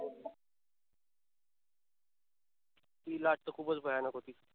ती लाट तर खूपच भयानक होती.